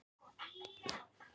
Lækjarási